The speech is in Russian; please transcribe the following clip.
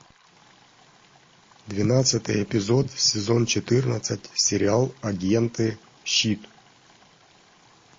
двенадцатый эпизод сезон четырнадцать сериал агенты щит